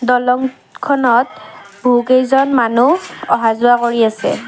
দলং খনত বহু কেইজন মানুহ অহা-যোৱা কৰি আছে।